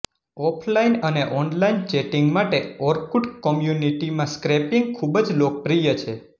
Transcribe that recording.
offline અને online chatting માટે Orkut કોમ્યુનીટીમાં સ્ક્રેપિંગ ખૂબ જ લોકપ્રિય છે